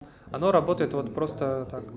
оно работает вот просто так